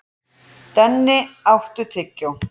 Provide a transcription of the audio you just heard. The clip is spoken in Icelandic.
Denni, áttu tyggjó?